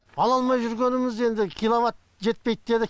ала алмай жүргеніміз енді киловатт жетпейді деді